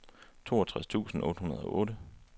toogtres tusind otte hundrede og otte